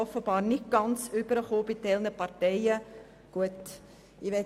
Offenbar ist dies nicht bei allen Parteien angekommen.